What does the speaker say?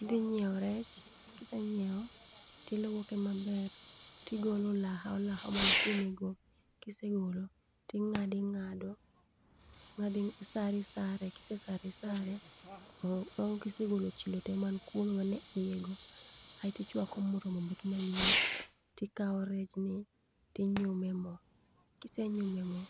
Idhi nyiewo rech, ki isenyiewo ti iluoke ma ler, to igolo olaha olaha man kuom go. Ki isegolo ti ingade ing'ado, isaro isare, ki isesare isare bang' ki isegolo chilo to ma nitie kuom go ma ni iye go aeto tichwako mo mondo obed ma liet ti ikawo rech ni ti inyumo e mo ,kisenyumo e mo